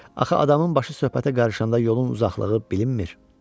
Axı adamın başı söhbətə qarışanda yolun uzaqlığı bilinmir?